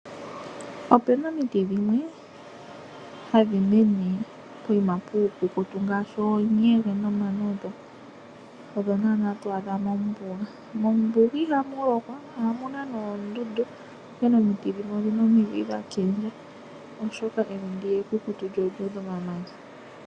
Ope na omiti dhimwe hadhi mene poshiima puukukutu ngaashi oonyege nomanongo. Odho naana twaadha mombuga, mombuga ihamu lokwa omuna noondundu onkene omiti dhimwe odhina omidhi dha kindja oshoka evi ndiya ekukutu lyo olyuudha omamanya.